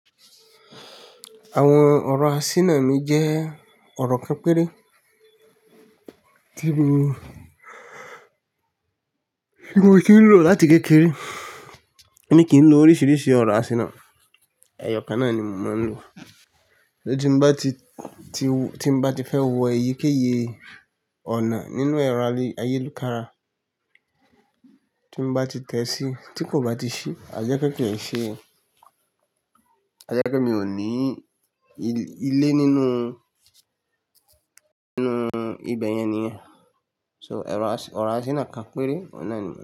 Àwọn ọ̀rọ̀ asínà mi jẹ́ ọ̀rọ̀ pẹ́ẹ́rẹ́ tí mo ti ń lò láti kékeré, èmi kì í lò oríṣìíríṣìí ọ̀rọ̀ asínà, ẹyọkan náà ni mo máa ń lò. Tí mo bá ti fẹ́ wọ eyikeye ọ̀nà nínú ẹrọ ayélukára, tí mo bá ti tẹ̀sí tí kò bá ti ṣí, àjẹ́ pé kì í ṣe, àjẹ́ pé mi ò ní ilé nínú ibẹ̀ yẹn nìyẹn. So ọ̀rọ̀ asínà kan péré, ọ̀unà ni.